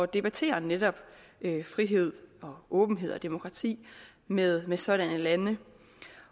debattere netop frihed åbenhed og demokrati med med sådanne lande